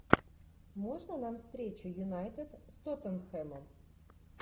можно нам встречу юнайтед с тоттенхэмом